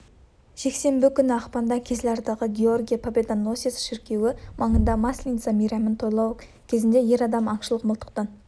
жексенбі күні ақпанда кизлярдағы георгий победоносец шіркеуі маңында масленица мейрамын тойлау кезінде ер адам аңшылық мылтықтан